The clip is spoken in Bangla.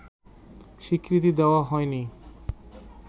স্বীকৃতি দেওয়া হয়নি